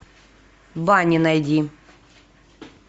баня найди